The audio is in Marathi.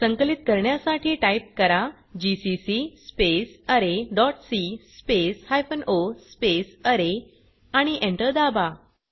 संकलित करण्यासाठी टाइप करा GCC space R dot C space hyphen O R आणि Enter दाबा